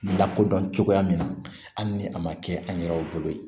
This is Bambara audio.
Lakodɔn cogoya min na hali ni a ma kɛ an yɛrɛw bolo ye